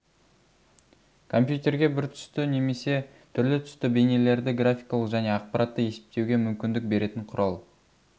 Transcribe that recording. компьютерге бір түсті немесе түрлі-түсті бейнелерді графикалық және ақпаратты есептеуге мүмкіндік беретін құрал